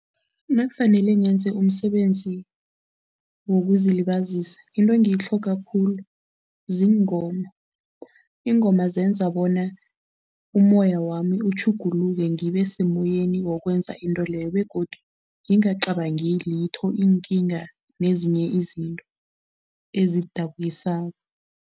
Nakufanele ngenze umsebenzi wokuzilibazisa, into engitlhoga khulu ziingoma. Iingoma zenza bona umoya wami utjhuguluke ngibe semoyeni wokwenza into leyo begodu ngingacabangi litho, iinkinga nezinye izinto ezidabukisako.